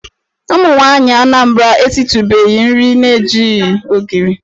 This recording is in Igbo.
Ụmụnwaanyị Anambra esitụbeghị nri na-ejighị ogiri.